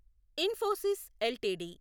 Infosys LTD